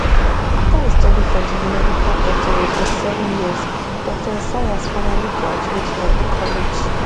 afta e study for di medical doctorate for seven years dr esayas finally graduate from di college